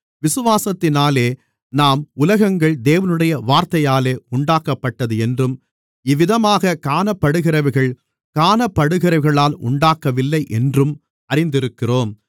விசுவாசத்தினாலே நாம் உலகங்கள் தேவனுடைய வார்த்தையாலே உண்டாக்கப்பட்டது என்றும் இவ்விதமாக காணப்படுகிறவைகள் காணப்படுகிறவைகளால் உண்டாகவில்லை என்றும் அறிந்திருக்கிறோம்